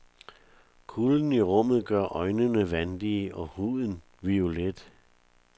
Kulden i rummet gør øjnene vandige og huden violet.